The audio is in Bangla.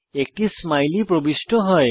একটি স্মাইলি প্রবিষ্ট হয়